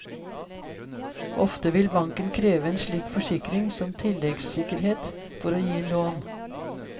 Ofte vil banken kreve en slik forsikring som tilleggssikkerhet for å gi lån.